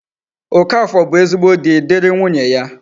Okafor bu ezigbo di, diri nwunye ya